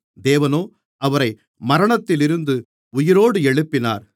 தேவனோ அவரை மரணத்திலிருந்து உயிரோடு எழுப்பினார்